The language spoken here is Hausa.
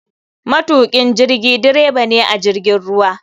Matukin jirigi dreba ne a jirgin ruwa.